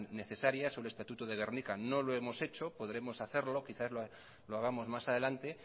necesarias o el estatuto de gernika no lo hemos hecho podremos hacerlo quizás lo hagamos más adelante